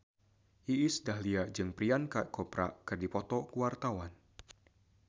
Iis Dahlia jeung Priyanka Chopra keur dipoto ku wartawan